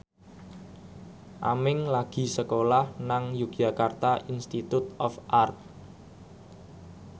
Aming lagi sekolah nang Yogyakarta Institute of Art